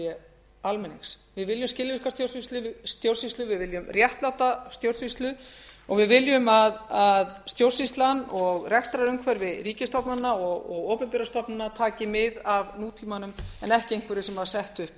viljum skilvirka stjórnsýslu við viljum réttláta stjórnsýslu og við viljum að stjórnsýslan og rekstrarumhverfi ríkisstofnana og opinberra stofnana taki mið af nútímanum en ekki einhverju sem var sett upp árið